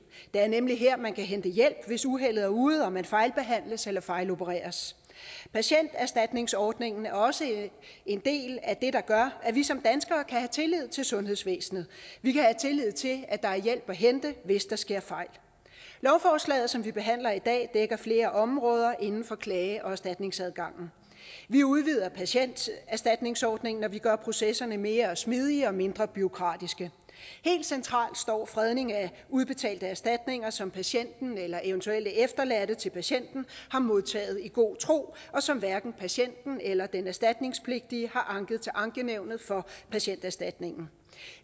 det er nemlig her man kan hente hjælp hvis uheldet er ude og man fejlbehandles eller fejlopereres patienterstatningsordningen er også en del af det der gør at vi som danskere kan have tillid til sundhedsvæsenet og vi kan have tillid til at der er hjælp at hente hvis der sker fejl lovforslaget som vi behandler i dag dækker flere områder inden for klage og erstatningsadgangen vi udvider patienterstatningsordningen og vi gør processerne mere smidige og mindre bureaukratiske helt centralt står fredning af udbetalte erstatninger som patienten eller eventuelle efterladte til patienten har modtaget i god tro og som hverken patienten eller den erstatningspligtige har anket til ankenævnet for patienterstatningen